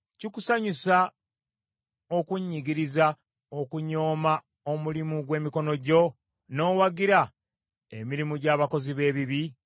Kikusanyusa okunnyigiriza, okunyooma omulimu gw’emikono gyo, n’owagira emirimu gy’abakozi b’ebibi?